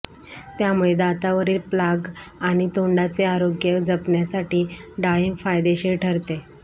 त्यामुळे दातांवरील प्लाग आणि तोंडाचे आरोग्य जपण्यासाठी डाळींब फायदेशीर ठरते